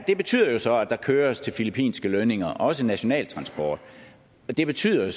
det betyder jo så at der køres til filippinske lønninger også national transport og det betyder